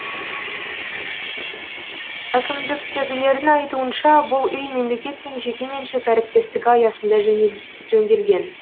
әкімдіктегілердің айтуынша бұл үй мемлекет пен жекеменшік әріптестігі аясында жөнделген